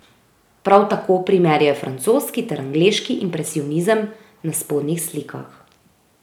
Prav tako primerjaj francoski ter angleški impresionizem na spodnjih slikah.